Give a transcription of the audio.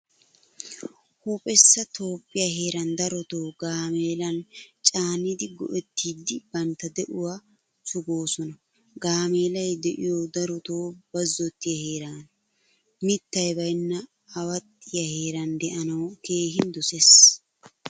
Huuphphessa toophphiyaa heeran darotto gaameelan caanidi go'ettidi bantta de'uwaa suggoosona. Gaameelay de'iyoy daroto bazzotiyaa heerana. Mittay bayna aawaxiyaa heeran de'anawu keehin dosees.